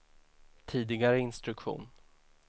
tidigare instruktion